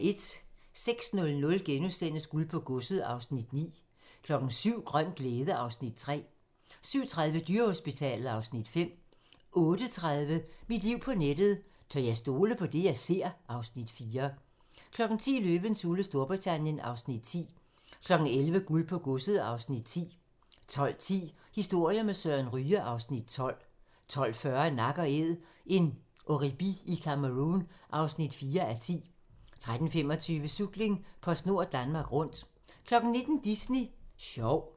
06:00: Guld på godset (Afs. 9)* 07:00: Grøn glæde (Afs. 3) 07:30: Dyrehospitalet (Afs. 5) 08:30: Mit liv på nettet: Tør jeg stole på det, jeg ser? (Afs. 4) 10:00: Løvens hule Storbritannien (Afs. 10) 11:00: Guld på godset (Afs. 10) 12:10: Historier med Søren Ryge (Afs. 12) 12:40: Nak & Æd - en oribi i Cameroun (4:10) 13:25: Cykling: PostNord Danmark Rundt 19:00: Disney Sjov